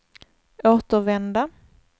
återvända